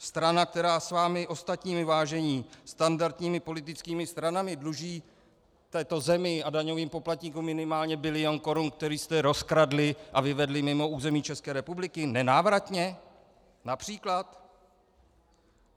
Strana, která s vámi ostatními, vážení, standardními politickými stranami dluží této zemi a daňovým poplatníkům minimálně bilion korun, který jste rozkradli a vyvedli mimo území České republiky nenávratně, například.